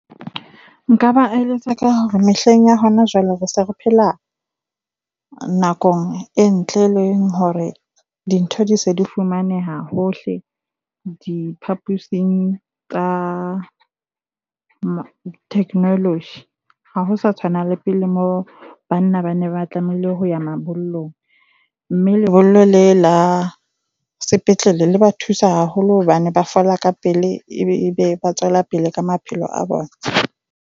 Nka ba eletsa ka hore mehleng ya hona jwale re se re phela nakong e ntle, e leng hore dintho di se di fumaneha hohle diphaposing tsa technology. Ha ho sa tshwana le pele moo banna ba ne ba tlamehile ho ya mabollong, mme lebollo le la sepetlele le ba thusa haholo hobane ba fola ka pele, ebe ba tswela pele ka maphelo a bona.